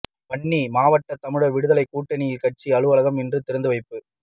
வன்னி மாவட்ட தமிழர் விடுதலைக் கூட்டணியின் கட்சி அலுவலகம் இன்று திறந்துவைப்பு